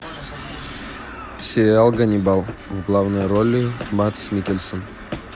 сериал ганнибал в главной роли мадс миккельсен